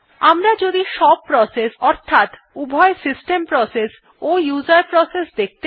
আমরা যদি সব প্রসেস অর্থাৎ উভয় সিস্টেম প্রসেস ও উসের প্রসেস দেখতে চাই